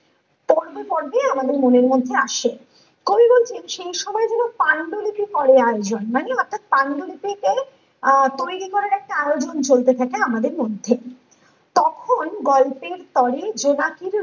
পর্বে পর্বে আমাদের মনের মধ্যে আসে কবি বলছেন সেই সময় গুলো পাণ্ডুলিপি করে আয়োজন মানে অর্থাৎ পাণ্ডুলিপি কে আহ তৈরী করার একটা আয়োজন চলতে থাকে আমাদের মধ্যে কখন গল্পের তরে জোনাকি